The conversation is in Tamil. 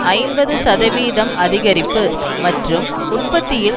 ஐம்பது சதவிகித அதிகரிப்பு மற்றும் உற்பத்தியில்